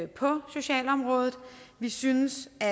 på socialområdet vi synes det